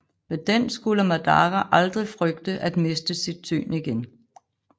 Med den skulle Madara aldrig frygte at miste sit syn igen